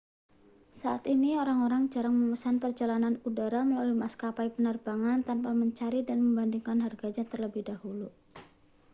saat ini orang-orang jarang memesan perjalanan udara melalui maskapai penerbangan tanpa mencari dan membandingkan harganya terlebih dahulu